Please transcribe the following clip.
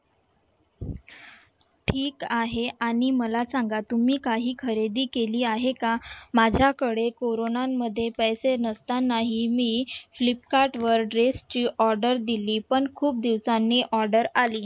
ठीक आहे आणि मला सांगा तुम्ही काही खरेदी केली आहे का? माझ्याकडे कोरोनांमध्ये पैसे नसतानाही मी फ्लिपकार्ट वर dress ची order दिली पण खूप दिवसांनी order आली